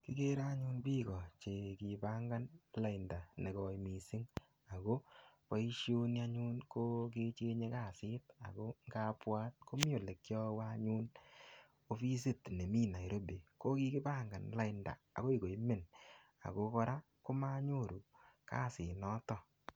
Agere anyun biiko che kipangan lainda negoi mising ago boisioni anyun ko kechenge kasit ago kabwat komi olekiawe anyun opisit nemi Nairobi ko kigipangan lainda agoi koimen ago kora komanyoru kasit noto.